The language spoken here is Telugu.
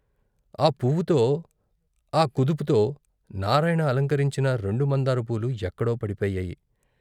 ఆ పువ్వుతో ఆ కుదుపుతో నారాయణ అలంకరించిన రెండు మందార పూలు ఎక్కడో పడిపోయాయి.